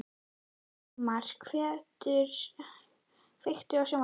Sigmar, kveiktu á sjónvarpinu.